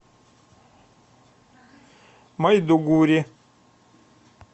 майдугури